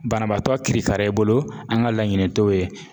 Banabaatɔ kirikara i bolo an ŋa laɲini t'o ye.